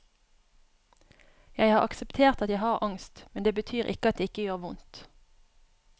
Jeg har akseptert at jeg har angst, men det betyr ikke at det ikke gjør vondt.